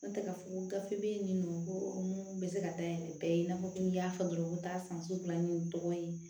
N'o tɛ ka fɔ ko gafe bɛ ye nin nɔ ko mun bɛ se ka dayɛlɛ bɛɛ ye i n'a fɔ ko n y'a fɔ dɔrɔn n ko taa san sugu la n ye dɔgɔ ye